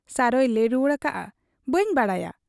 ᱥᱟᱨᱚᱭ ᱞᱟᱹᱭ ᱨᱩᱣᱟᱹᱲ ᱟᱠᱟᱜ ᱟ, 'ᱵᱟᱹᱧ ᱵᱟᱰᱟᱭᱟ ᱾